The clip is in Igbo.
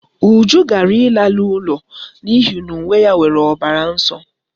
Uju ghara ịla n'ụlọ n'ihi na uwe ya nwere ọbara nsọ